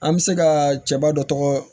An bɛ se ka cɛba dɔ tɔgɔ